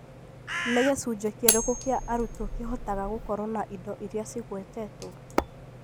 Nĩ gĩcunjĩ kĩrĩkũ kĩa arutwo kĩhotaga gũkorwo na indo iria cigwetetwo?